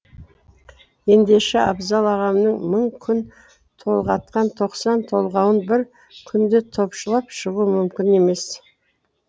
ендеше абзал ағамның мың күн толғатқан тоқсан толғауын бір күнде топшылап шығу мүмкін емес